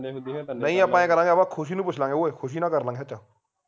ਕਰਾਂਗੇ ਖੁਸ਼ੀ ਨੂੰ ਪੁੱਛ ਲਾਂਗੇ ਓਏ ਖੁਸ਼ੀ ਨਾਲ ਕਰ ਲਾਂਗੇ ਸੱਚ